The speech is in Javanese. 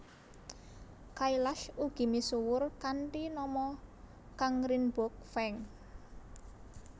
Kailash ugi misuwur kanthi nama Kangrinboge Feng